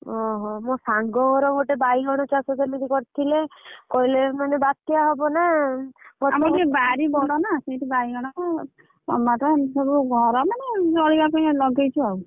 ଓହୋ ମୋ ସାଙ୍ଗ ଘର ଗୋଟେ ବାଇଗଣ ଚାଷ କରିଥିଲେ କହିଲେ ବାତ୍ୟା ହବ ନାଁ ଆମର ଟିକେ ବାରି ବଡତ ବାଇଗଣ।